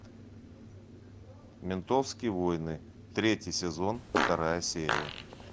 ментовские войны третий сезон вторая серия